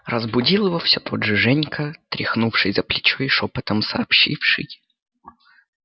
разбудил его всё тот же женька тряхнувший за плечо и шёпотом сообщивший